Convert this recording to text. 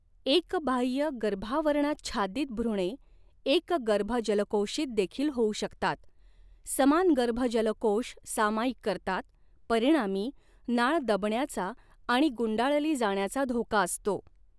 एकबाह्यगर्भावरणाच्छादित भ्रूणे एकगर्भजलकोषित देखील होऊ शकतात, समान गर्भजलकोष सामायिक करतात, परिणामी नाळ दबण्याचा आणि गुंडाळली जाण्याचा धोका असतो.